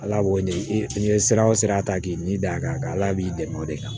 Ala b'o de ye sira o sira ta k'i ni da kan ala b'i dɛmɛ o de kan